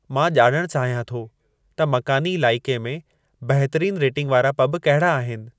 मां ॼाणणु चाहियां थो त मकानी इलाइक़े में बहितरीन रेटींग वारा पब कहिड़ा आहिनि